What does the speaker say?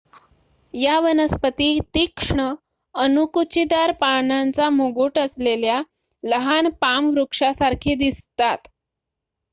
या वनस्पती तीक्ष्ण अणकुचीदार पानांचा मुकुट असलेल्या लहान पाम वृक्षासारखी दिसतात